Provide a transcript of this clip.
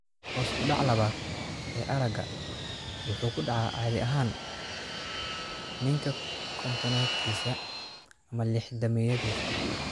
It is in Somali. Hoos u dhaca labaad ee aragga wuxuu caadi ahaan ku dhacaa ninka kontonaadkiisa ama lixdameeyadii.